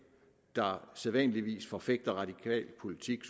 der sædvanligvis forfægter radikal politik